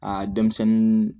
A denmisɛnnin